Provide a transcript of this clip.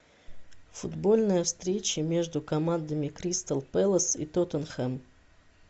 футбольная встреча между командами кристал пэлас и тоттенхэм